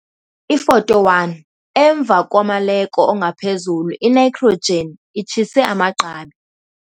Ifoto 1- Emva komaleko ongaphezulu initrogen itshise amagqabi.